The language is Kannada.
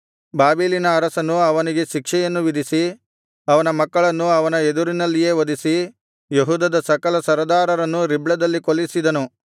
ಬಾಬೆಲಿನ ಅರಸನು ಅವನಿಗೆ ಶಿಕ್ಷೆಯನ್ನು ವಿಧಿಸಿ ಅವನ ಮಕ್ಕಳನ್ನು ಅವನ ಎದುರಿನಲ್ಲಿಯೇ ವಧಿಸಿ ಯೆಹೂದದ ಸಕಲ ಸರದಾರರನ್ನು ರಿಬ್ಲದಲ್ಲಿ ಕೊಲ್ಲಿಸಿದನು